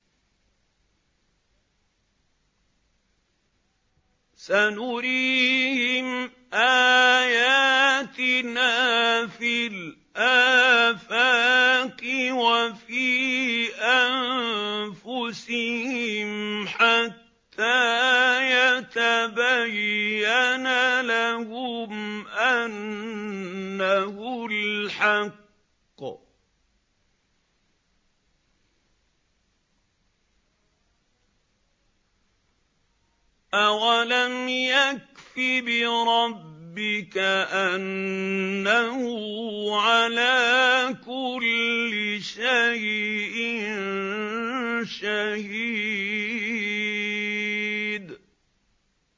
سَنُرِيهِمْ آيَاتِنَا فِي الْآفَاقِ وَفِي أَنفُسِهِمْ حَتَّىٰ يَتَبَيَّنَ لَهُمْ أَنَّهُ الْحَقُّ ۗ أَوَلَمْ يَكْفِ بِرَبِّكَ أَنَّهُ عَلَىٰ كُلِّ شَيْءٍ شَهِيدٌ